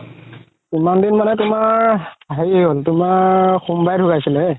কিমান দিন মানে তুমাৰ হেৰি হ'ল সোমবাৰে ধুকাইছিলে